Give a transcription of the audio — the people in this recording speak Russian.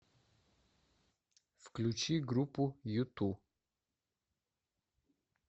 включи группу юту